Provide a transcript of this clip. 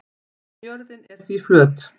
jörðin er því flöt